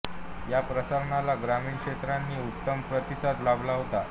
या प्रसारणाला ग्रामीण श्रोत्यांचा उत्तम प्रतिसाद लाभला होता